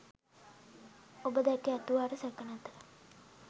ඔබ දැක ඇතුවාට සැක නැත.